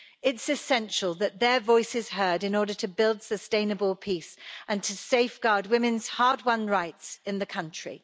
It's essential that their voice is heard in order to build sustainable peace and to safeguard women's hard-won rights in the country.